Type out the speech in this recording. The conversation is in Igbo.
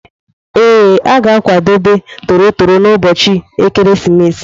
Ee, a ga-akwadebe toro toro n'ụbọchị ekeresimesi.